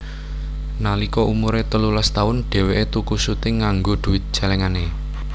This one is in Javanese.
Nalika umure telulas taun dheweke tuku suting nganggo duwit celengane